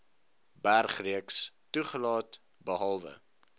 bergreeks toegelaat behalwe